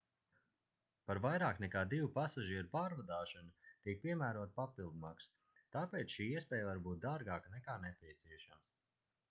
par vairāk nekā 2 pasažieru pārvadāšanu tiek piemērota papildmaksa tāpēc šī iespēja var būt dārgāka nekā nepieciešams